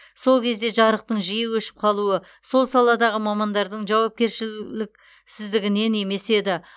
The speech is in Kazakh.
сол кезде жарықтың жиі өшіп қалуы сол саладағы мамандардың жауапкершіліксіздігінен емес еді